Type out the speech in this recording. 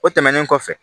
O tɛmɛnen kɔfɛ